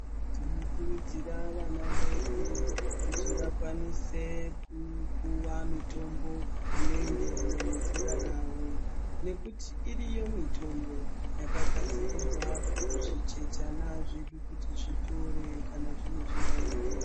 Tinokurudzira vana vedu kuti vakwanise kupuwa mitombo inoenderana nezera ravo nekuti iriyo mitombo yakagadzirirwa zvichechana zvedu kuti zvitore kana zvine zviyaiyo.